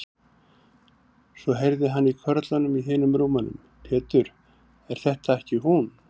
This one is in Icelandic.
Svo heyrði hann í körlunum í hinum rúmunum: Pétur, er þetta ekki hún.